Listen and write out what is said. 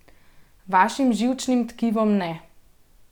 Vašim živčnim tkivom ne.